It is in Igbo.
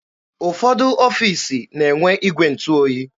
Ụfọdụ ọfiisi na-enwe igwe ntụ oyi.